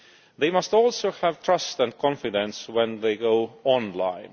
They must also have trust and confidence when they go online.